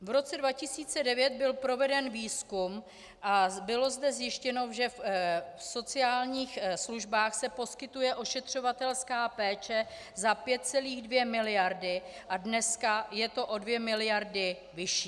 V roce 2009 byl proveden výzkum a bylo zde zjištěno, že v sociálních službách se poskytuje ošetřovatelská péče za 5,2 miliardy, a dnes je to 2 miliardy vyšší.